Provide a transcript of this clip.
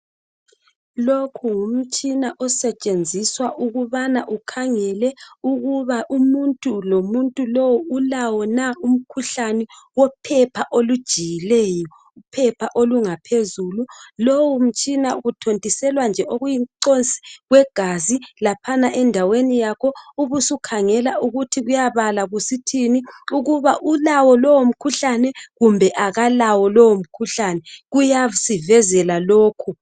Lokhu ngumtshina osetshenziswa ukubana ukhangele ukuba umuntu lo muntu lowu ulawo na umkhuhlane wophepha olujiyileyo. Uphepha olungaphezulu. Lowu mtshina kuthontiselwa nje okuyi mcosi kwegazi laphana endaweni yakho. Ubusukhangela ukuthi kuyabala kusithini. Ukuba ulawo lowo mkhuhlane kumbe akalawo lowo mkhuhlane. Kuyasivezela lokho.